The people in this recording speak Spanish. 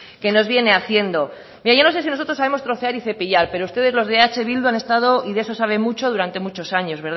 que nos viene haciendo yo no sé si nosotros sabemos trocear y cepillar pero ustedes los de eh bildu han estado y de eso saben mucho durante muchos años